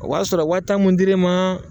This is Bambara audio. O b'a sɔrɔ waa tan mun dir'i ma,